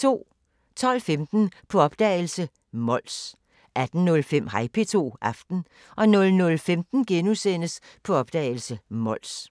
12:15: På opdagelse – Mols 18:05: Hej P2 – Aften 00:15: På opdagelse – Mols *